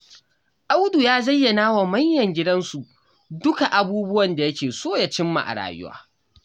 Audu ya zayyana wa manyan gidansu duka abubuwan da yake so ya cimma a rayuwa.